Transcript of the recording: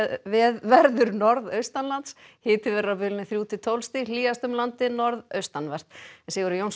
verður norðaustanlands hiti verður á bilinu þrjú til tólf stig hlýjast um landið norðaustanvert Sigurður Jónsson